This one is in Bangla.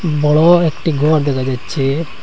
বড় একটি গড় দেখা যাচ্ছে।